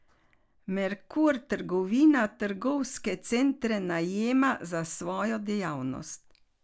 Merkur trgovina trgovske centre najema za svojo dejavnost.